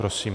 Prosím.